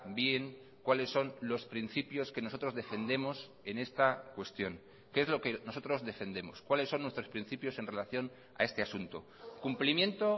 bien cuáles son los principios que nosotros defendemos en esta cuestión qué es lo que nosotros defendemos cuáles son nuestros principios en relación a este asunto cumplimiento